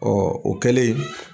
Ɔ o kɛlen.